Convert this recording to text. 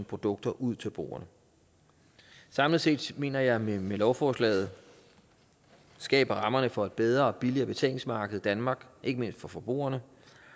produkter ud til brugerne samlet set mener jeg at vi med lovforslaget skaber rammerne for et bedre og billigere betalingsmarked i danmark ikke mindst for forbrugerne